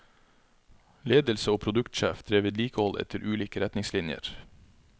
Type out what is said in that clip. Ledelse og produktsjef drev vedlikehold etter ulike retningslinjer.